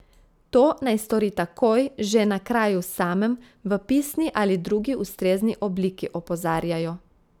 To naj stori takoj, že na kraju samem, v pisni ali drugi ustrezni obliki, opozarjajo.